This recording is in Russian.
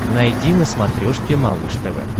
найди на смотрешке малыш тв